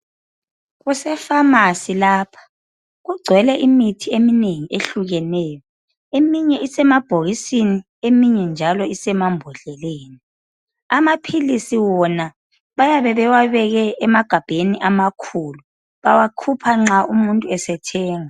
Kusepharmacy lapha. Kugcwele imithi eminengi, ehlukeneyo. Eminye isemabhokisini. Eminye njalo isemambodleleni. Amaphilisi wona, bayabe bewabeke emagabheni amakhulu. Bawakhupha nxa umuntu esethenga.